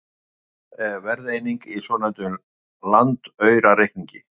Hundrað er verðeining í svonefndum landaurareikningi.